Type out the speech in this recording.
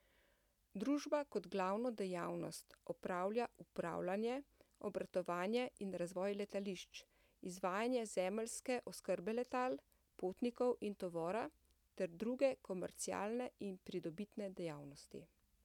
Družba kot glavno dejavnost opravlja upravljanje, obratovanje in razvoj letališč, izvajanje zemeljske oskrbe letal, potnikov in tovora, ter druge komercialne in pridobitne dejavnosti.